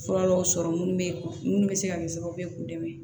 Fura dɔw sɔrɔ minnu bɛ munnu bɛ se ka kɛ sababu ye k'u dɛmɛ